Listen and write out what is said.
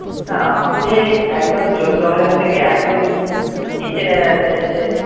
না আপনি একদম চোদ্দ হাজার থেকে একদম নিচে নেমে যাচ্ছেন যে।